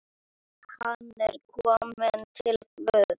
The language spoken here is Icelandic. Hann er kominn til Guðs.